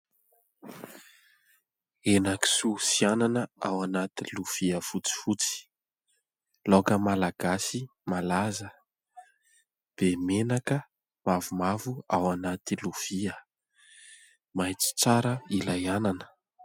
Henakisoa sy anana ao anaty lovia fotsifotsy. Laoka malagasy malaza, be menaka mavomavo ao anaty lovia maitso tsara ilay anana.